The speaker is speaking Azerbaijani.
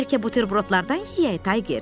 Bəlkə buterbrodlardan yeyək, Tayger?